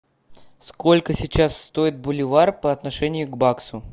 сколько сейчас стоит боливар по отношению к баксу